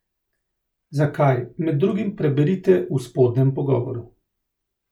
Zakaj, med drugim preberite v spodnjem pogovoru.